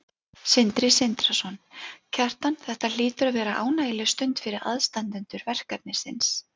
Sindri Sindrason: Kjartan þetta hlýtur að vera ánægjuleg stund fyrir aðstandendur verkefnisins?